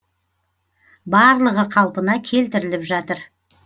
барлығы қалпына келтіріліп жатыр